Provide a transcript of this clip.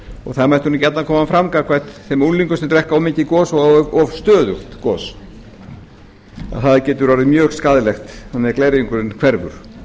og það mætti nú gjarnan koma fram gagnvart þeim unglingum sem drekka of mikið gos og of stöðugt gos að það getur orðið mjög skaðlegt þannig að glerjungurinn hverfur